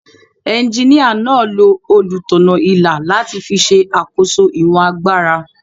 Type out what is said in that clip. Ejiníyà náà lo olùtọ̀nà-ilà láti fi ṣe àkóso ìwọ̀n agbára